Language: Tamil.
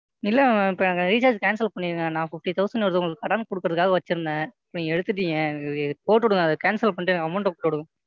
இல்லை Ma'am இப்ப என் Recharge ஐ Cancel பண்ணிருங்க. நான் Fifty thousand ஒருத்தருக்கு கடன் கொடுக்குறதுக்காக வெச்சிருந்தேன். நீங்க எடுத்துட்டீங்க போட்டு விடுங்க. அதை Cancel பண்ணிட்டு எனக்கு Amount ஐ போட்டு விடுங்க.